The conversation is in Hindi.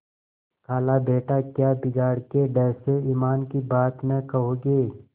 खालाबेटा क्या बिगाड़ के डर से ईमान की बात न कहोगे